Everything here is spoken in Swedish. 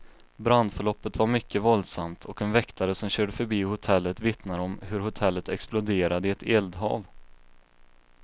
Brandförloppet var mycket våldsamt, och en väktare som körde förbi hotellet vittnar om hur hotellet exploderade i ett eldhav.